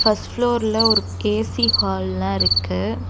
First ஃப்ளோர்ல ஒரு கே_சி ஹால்லா இருக்கு.